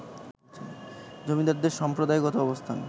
জমিদারদের সম্প্রদায়গত অবস্থান